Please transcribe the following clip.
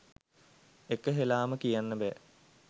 එක හෙළාම කියන්න බෑ.